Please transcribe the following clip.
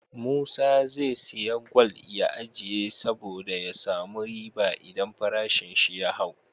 Musa ze siya gwal ya ajiye sabo da ya samu riba idan farashin shi ya hau